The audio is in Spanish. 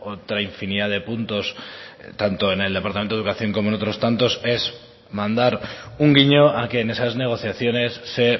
otra infinidad de puntos tanto en el departamento de educación como en otros tantos es mandar un guiño a que en esas negociaciones se